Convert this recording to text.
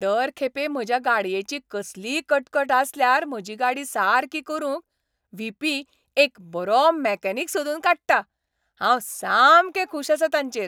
दर खेपे म्हज्या गाडयेची कसलीय कटकट आसल्यार म्हजी गाडी सारकी करूंक व्ही. पी. एक बरो मेकॅनीक सोदून काडटा. हांव सामकें खूश आसां ताचेर.